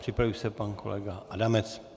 Připraví se pan kolega Adamec.